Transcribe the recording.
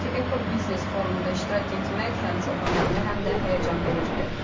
Eko biznes forumunda iştirak etmək həm çox önəmli, həm də həyəcanvericidir.